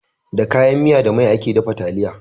Da kayan miya da mai ake dafa taliya.